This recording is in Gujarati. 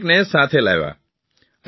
તેઓ દરેકને સાથે લાવ્યા